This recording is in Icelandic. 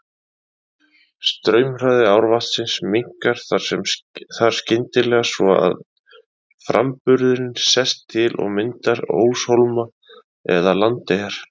Straumhraði árvatnsins minnkar þar skyndilega svo að framburðurinn sest til og myndar óshólma eða landeyjar.